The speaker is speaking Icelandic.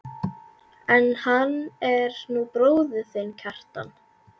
En hann er nú bróðir þinn, Kjartan.